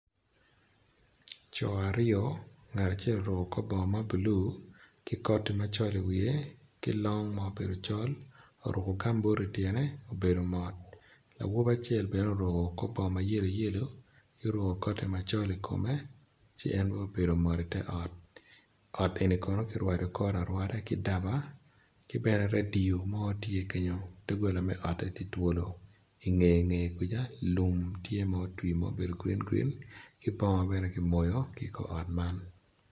Co aryo ngat acel orukio kor bongo ma blue ki koti macol iwiye ki long ma obedo col oruko gambut ityene obedo mot awobi acel bene oruko kor bongo ma yeloyelo ki oruko koti macol ikome ci en bene obedo mot ot eni kono kirwado kore arwada ki daba ki bene radio mo tye kenyo dogola me ote tye twolo ki ingeye kwica lum tye ma otwi ma obedo grin grinn ki bongo bene ki ngeye kunu.